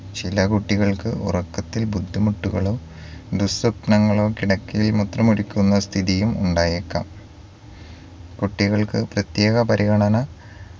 ചില കുട്ടികൾക്ക് ഉറക്കത്തിൽ ബുദ്ധിമുട്ടുകളും ദുസ്വപ്നങ്ങളും കിടക്കയിൽ മൂത്രമൊഴിക്കുന്ന സ്ഥിതിയും ഉണ്ടായേക്കാം കുട്ടികൾക്ക് പ്രേത്യേക പരിഗണന